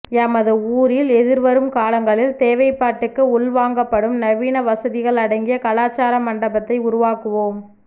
எமது ஊரில் எதிர்வரும் காலங்களில் தேவைப்பாட்டுக்கு உள்வாங்கப்படும் நவீன வசதிகள் அடங்கிய கலாச்சார மண்டபத்தை உருவாக்குவோம்